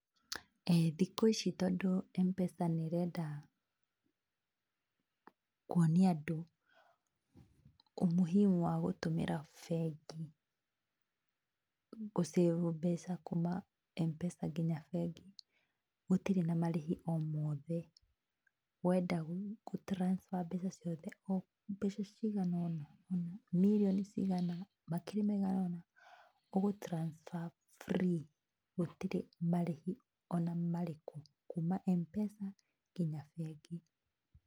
Thikũ ici tondũ M-pesa nĩ ĩrenda kuonia andũ umuhimu wa gũtũmĩra bengi gũ save mbeca kuma M-pesa nginya bengi, gũtirĩ na marĩhi o mothe. Wenda gũ transfer mbeca ciothe, mbeca ciganona ona mirioni cigana, makiri maiganona, ũgũ transfer free gũtirĩ marĩhi ona marĩkũ kuma M-pesa nginya bengi.